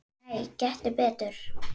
Nei, gettu betur